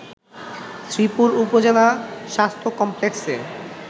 শ্রীপুর উপজেলা স্বাস্থ্য কমপ্লেক্সে